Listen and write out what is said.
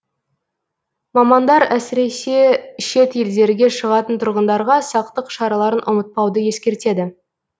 мамандар әсіресе шет елдерге шығатын тұрғындарға сақтық шараларын ұмытпауды ескертеді